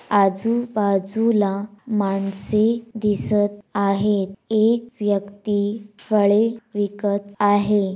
आजूबाजूला माणसे दिसत आहेत एक व्यक्ती फळे विकत आहे.